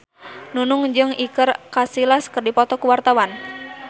Nunung jeung Iker Casillas keur dipoto ku wartawan